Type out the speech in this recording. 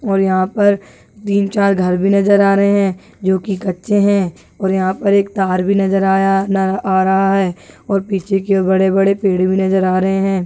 और यहां पर तीन चार घर भी नज़र आ रहे है जो की कच्चे है और यहां पर एक तार भी नज़र आ रहा है और पीछे की और बड़े बड़े पेड़ नज़र आ रहे है।